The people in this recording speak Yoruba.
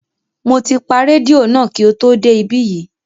Mo ti pa rédíò náà kí o tó dé ibí yìí